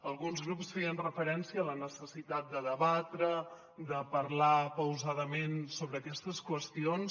alguns grups feien referència a la necessitat de debatre de parlar pausadament sobre aquestes qüestions